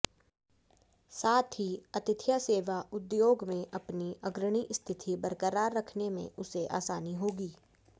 साथ ही आतिथ्य सेवा उद्योग में अपनी अग्रणी स्थिति बरकरार रखने में उसे आसानी होगी